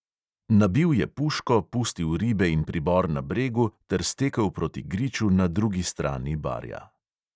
Nabil je puško, pustil ribe in pribor na bregu ter stekel proti griču na drugi strani barja.